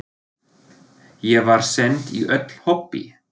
Ég var send í öll hobbí.